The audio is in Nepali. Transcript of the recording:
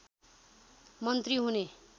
मन्त्री हुने